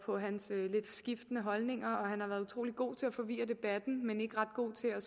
på hans lidt skiftende holdninger han har været utrolig god til at forvirre debatten men ikke ret god til at